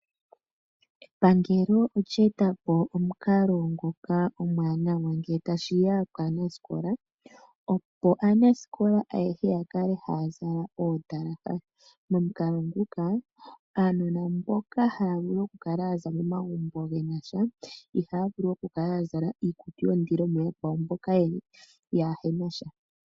Epangelo olye etapo omukalo nguka omwanawa ngele tashi ya kaanaskola opo aaskola ayehe ya kale ha zala ondalaha, momukalo nguka aanona mboka ha vulu okukala ya za momagumbo ge na sha iha vulu okukala ya zala iikutu yondilo muyakwawo mboka yaana sha.